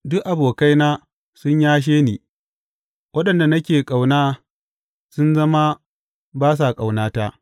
Duk abokaina sun yashe ni; waɗanda nake ƙauna sun zama ba sa ƙaunata.